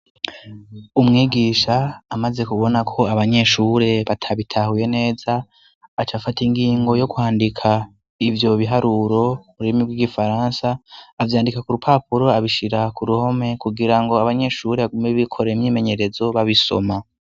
Umwigisha amaze kubona ko abanyeshure batabitahuye neza aca afata ingingo yo kwandika ivyo biharuro murimi bw'igifaransa avyandika ku rupapuro abishira ku ruhome kugira ngo abanyeshure bagume bikore myimenyerezo babisoma.